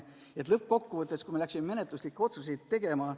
Lõppkokkuvõttes läksime menetluslikke otsuseid tegema.